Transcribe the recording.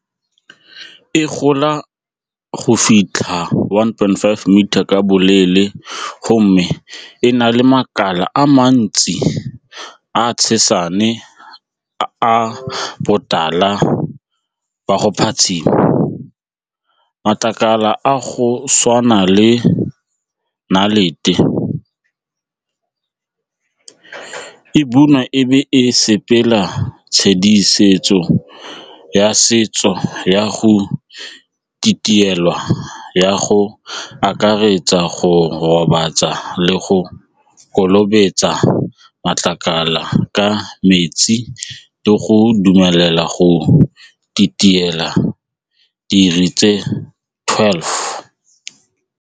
E gola go fitlha one point five metre ka boleele gomme e na le makala a mantsi a tshepane a botala jwa go phatshima, matlakala a go tshwana le nnalete e bonwa e be e sepela tshedimosetso ya setso ya go tsa go akaretsa go gobatsa le go matlakala ka metsi le go dumelela go tse twelve.